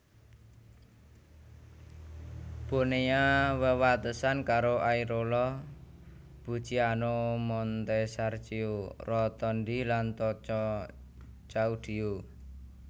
Bonea wewatesan karo Airola Bucciano Montesarchio Rotondi lan Tocco Caudio